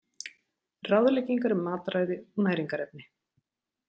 Ráðleggingar um mataræði og næringarefni.